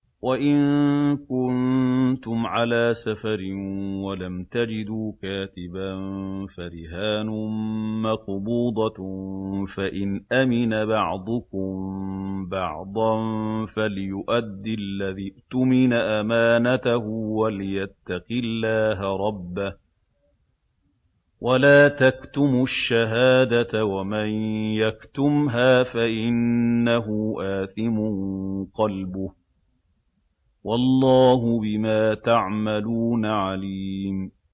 ۞ وَإِن كُنتُمْ عَلَىٰ سَفَرٍ وَلَمْ تَجِدُوا كَاتِبًا فَرِهَانٌ مَّقْبُوضَةٌ ۖ فَإِنْ أَمِنَ بَعْضُكُم بَعْضًا فَلْيُؤَدِّ الَّذِي اؤْتُمِنَ أَمَانَتَهُ وَلْيَتَّقِ اللَّهَ رَبَّهُ ۗ وَلَا تَكْتُمُوا الشَّهَادَةَ ۚ وَمَن يَكْتُمْهَا فَإِنَّهُ آثِمٌ قَلْبُهُ ۗ وَاللَّهُ بِمَا تَعْمَلُونَ عَلِيمٌ